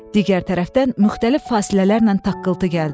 Digər tərəfdən müxtəlif fasilələrlə taqqıltı gəldi.